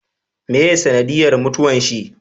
Meye sanadiyan mutuwan shi?